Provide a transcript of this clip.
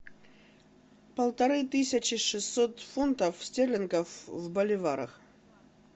полторы тысячи шестьсот фунтов стерлингов в боливарах